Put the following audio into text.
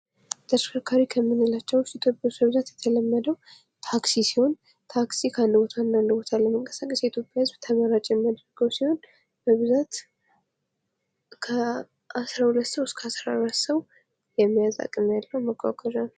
ተሽከርካሪዎች ከምንላቸው ኢትዮጵያ ውስጥ የተለመደው ታክሲ ሲሆን ፤ ታክሲ ከአንድ ቦታ ወደ አንዳንድ ቦታ ለመንቀሳቀስ የኢትዮጵያ ህዝብ ተመራጭ የሚያደርገው ሲሆን፤ በብዛት ከ 12 ሰው እስከ 14 ሰው የመያዝ አቅም ያለው መጓጓዣ ነው።